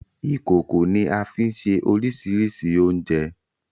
Ìkòkò ni a fi ń se oríṣiríṣi oúnjẹ.